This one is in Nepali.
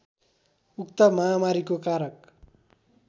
उक्त महामारीको कारक